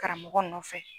Karamɔgɔ nɔfɛ